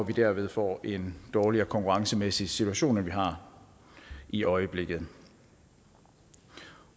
vi derved får en dårligere konkurrencemæssig situation end vi har i øjeblikket